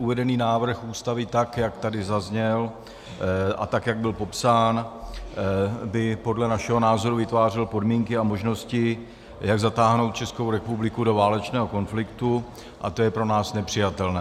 Uvedený návrh Ústavy, tak jak tady zazněl a tak jak byl popsán, by podle našeho názoru vytvářel podmínky a možnosti, jak zatáhnout Českou republiku do válečného konfliktu, a to je pro nás nepřijatelné.